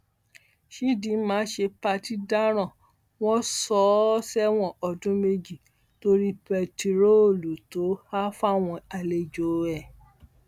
chidinma ṣe pàtì dáràn wọn sọ ọ sẹwọn ọdún méjì torí bẹntiróòlù tó há fáwọn àlejò ẹ